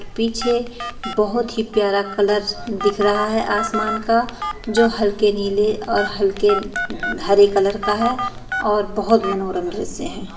पीछे बहुत ही प्यारा कलर दिख रहा है आसमान का जो हल्के नीले और हल्के हरे कलर का है और बहुत मनोरंगस है।